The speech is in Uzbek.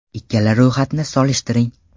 Ikkala ro‘yxatni solishtiring.